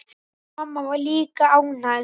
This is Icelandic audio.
Mamma var líka ánægð.